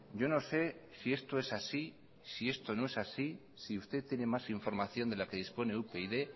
yo no sé si esto es así si esto no es así si usted tiene más información de la que dispone upyd